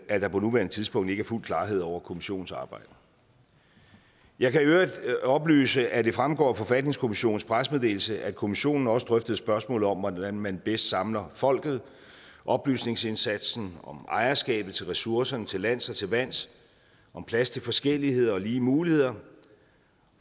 er der på nuværende tidspunkt ikke fuld klarhed over kommissionens arbejde jeg kan i øvrigt oplyse at det fremgår af forfatningskommissionens pressemeddelelse at kommissionen også drøftede spørgsmålet om hvordan man bedst samler folket oplysningsindsatsen om ejerskabet til ressourcerne til lands og til vands om plads til forskellighed og lige muligheder